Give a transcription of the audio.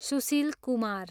Sushil Kumar